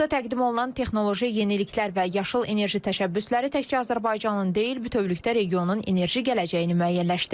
Burda təqdim olunan texnoloji yeniliklər və yaşıl enerji təşəbbüsləri təkcə Azərbaycanın deyil, bütövlükdə regionun enerji gələcəyini müəyyənləşdirir.